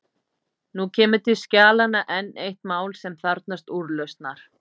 Nú kemur til skjalanna enn eitt mál sem þarfnast úrlausnar.